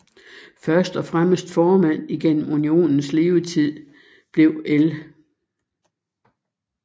Første og eneste formand igennem unionens levetid blev L